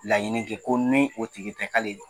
Laɲini kɛ ko ni o tigi tɛ kale